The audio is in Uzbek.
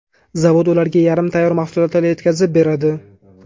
Zavod ularga yarim tayyor mahsulotlar yetkazib beradi.